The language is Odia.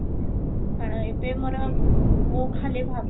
କାରଣ ଏବେ ମୋର ମୁଁ ଖାଲି ଭାବି କି